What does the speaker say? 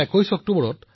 কিন্তু আজি তেনে নহয়